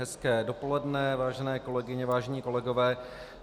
Hezké dopoledne, vážené kolegyně, vážení kolegové.